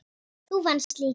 Þú venst líka.